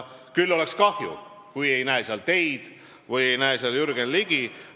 Küll oleks kahju, kui me ei näe seal teid või Jürgen Ligit.